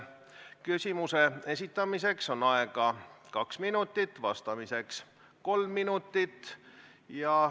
Küsimuse esitamiseks on aega kaks minutit, vastamiseks kolm minutit.